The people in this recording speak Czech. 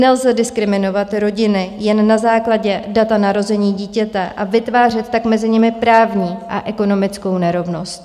Nelze diskriminovat rodiny jen na základě data narození dítěte a vytvářet tak mezi nimi právní a ekonomickou nerovnost.